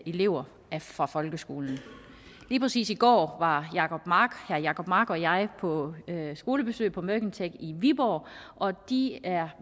elever fra folkeskolen lige præcis i går var herre jacob mark og jeg på skolebesøg på mercantec i viborg og de er